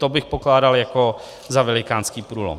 To bych pokládal jako za velikánský průlom.